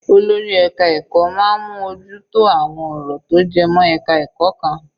Olórí ẹka ẹ̀kọ́ máa ń mú ojú tó àwọn ọ̀rọ̀ tó jẹ mọ́ ẹka ẹ̀kọ́ kan.